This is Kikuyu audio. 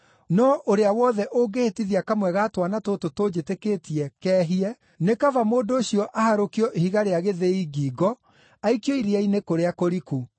No ũrĩa wothe ũngĩhĩtithia kamwe ga twana tũtũ tũnjĩtĩkĩtie keehie, nĩ kaba mũndũ ũcio aharũkio ihiga rĩa gĩthĩi ngingo aikio iria-inĩ kũrĩa kũriku.